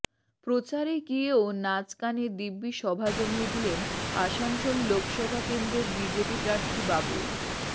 প্রচারে গিয়েও নাচ গানে দিব্যি সভা জমিয়ে দিলেন আসানসোল লোকসভা কেন্দ্রের বিজেপি প্রার্থী বাবুল